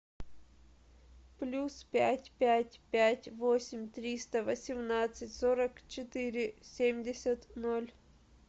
плюс пять пять пять восемь триста восемнадцать сорок четыре семьдесят ноль